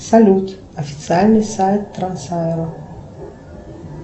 салют официальный сайт трансаэро